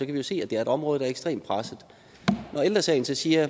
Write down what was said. kan jo se at det er et område der er ekstremt presset ældre sagen siger